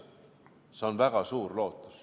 See on väga suur lootus.